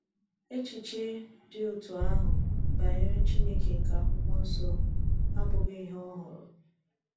Echiche dị otú ahụ banyere Chineke nke Akwụkwọ nsọ abụghị ihe ọhụrụ.